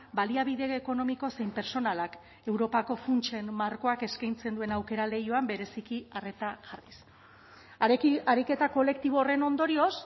baliabide ekonomiko zein pertsonalak europako funtsen markoak eskaintzen duen aukera leihoan bereziki arreta jarriz ariketa kolektibo horren ondorioz